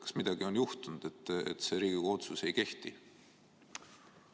Kas midagi on juhtunud, et see Riigikogu otsus ei kehti?